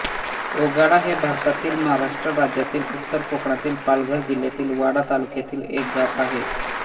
ओगाडा हे भारतातील महाराष्ट्र राज्यातील उत्तर कोकणातील पालघर जिल्ह्यातील वाडा तालुक्यातील एक गाव आहे